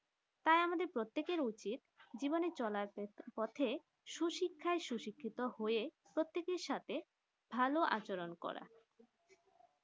আমাদের প্রত্যেকে উচিত জীবনে চলার পথে সু শিক্ষা শিক্ষিত হয়ে প্রত্যেকে সাথে ভালো আচরণ করা